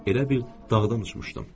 Elə bil dağdan uçmuşdum.